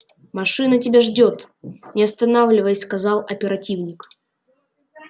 машина тебя ждёт не останавливаясь сказал оперативник